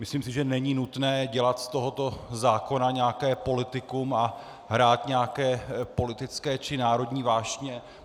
Myslím si, že není nutné dělat z tohoto zákona nějaké politikum a hrát nějaké politické či národní vášně.